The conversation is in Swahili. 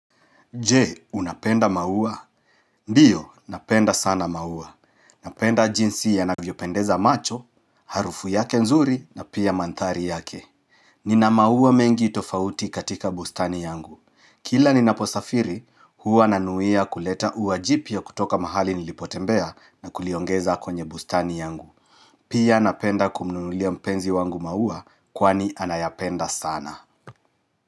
Je, unapenda maua? Ndiyo, napenda sana maua. Napenda jinsi yanavyopendeza macho, harufu yake nzuri na pia mandhari yake. Nina maua mengi tofauti katika bustani yangu. Kila ninaposafiri, huwa nanuia kuleta ua jipya kutoka mahali nilipotembea na kuliongeza kwenye bustani yangu. Pia napenda kumununulia mpenzi wangu maua kwani anayapenda sana.